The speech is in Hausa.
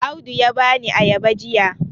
Audu ya bani ayaba jiya